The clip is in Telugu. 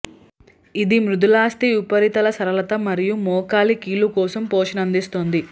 ఇది మృదులాస్థి ఉపరితల సరళత మరియు మోకాలి కీలు కోసం పోషణ అందిస్తుంది